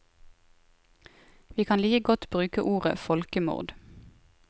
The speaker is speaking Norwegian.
Vi kan like godt bruke ordet folkemord.